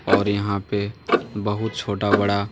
और यहां पे बहुत छोटा बड़ा--